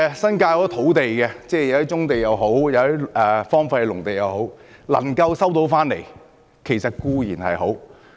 新界有很多土地，一些是棕地，一些則是荒廢農地，能夠收回固然好。